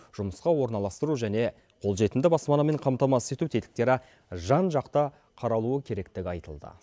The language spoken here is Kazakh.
жұмысқа орналастыру және қолжетімді баспанамен қамтамасыз ету тетіктері жан жақты қаралуы керектігі айтылды